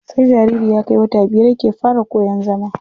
Sai jariri ya kai wata biyar yake fara iya koyan zama.